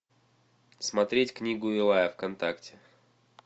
смотреть книгу илая вконтакте